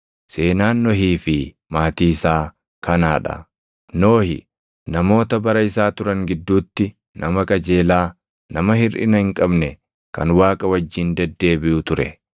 Seenaan Nohii fi maatii isaa kanaa dha. Nohi namoota bara isaa turan gidduutti nama qajeelaa, nama hirʼina hin qabne kan Waaqa wajjin deddeebiʼu ture.